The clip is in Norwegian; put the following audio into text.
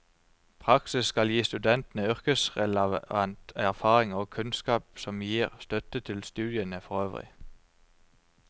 Praksis skal gi studentene yrkesrelevant erfaring og kunnskap som gir støtte til studiene forøvrig.